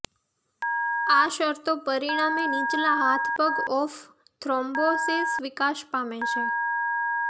આ શરતો પરિણામે નીચલા હાથપગ ઓફ થ્રોમ્બોસિસ વિકાસ પામે છે